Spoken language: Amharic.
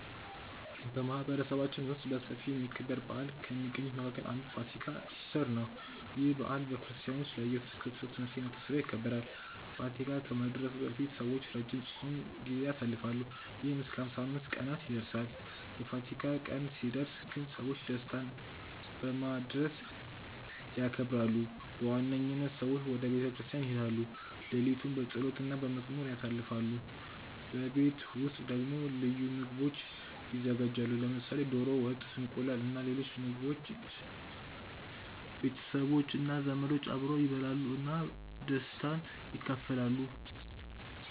በማህበረሰባችን ውስጥ በሰፊ የሚከበር በዓል ከሚገኙት መካከል አንዱ ፋሲካ (ኢስተር) ነው። ይህ በዓል በክርስቲያኖች ለኢየሱስ ክርስቶስ ትንሳኤ መታሰቢያ ይከበራል። ፋሲካ ከመድረሱ በፊት ሰዎች ረጅም የጾም ጊዜ ያሳልፋሉ፣ ይህም እስከ 55 ቀናት ይደርሳል። የፋሲካ ቀን ሲደርስ ግን ሰዎች ደስታ በማድረግ ያከብራሉ። በዋነኝነት ሰዎች ወደ ቤተ ክርስቲያን ይሄዳሉ፣ ሌሊቱን በጸሎት እና በመዝሙር ያሳልፋሉ። በቤት ውስጥ ደግሞ ልዩ ምግቦች ይዘጋጃሉ፣ ለምሳሌ ዶሮ ወጥ፣ እንቁላል እና ሌሎች የተለያዩ ምግቦች። ቤተሰቦች እና ዘመዶች አብረው ይበላሉ እና ደስታን ይካፈላሉ።